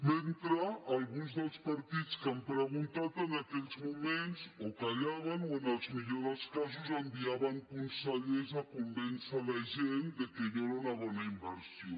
mentre alguns dels partits que han preguntat en aquells moments o callaven o en el millor dels casos enviaven consellers a convèncer la gent que allò era una bona inversió